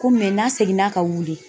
Ko mɛ n'a seginna ka wili